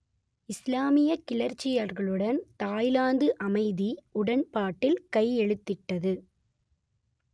இஸ்லாமியக் கிளர்ச்சியாளர்களுடன் தாய்லாந்து அமைதி உடன்பாட்டில் கையெழுத்திட்டது